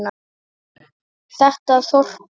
Þetta þorp gaf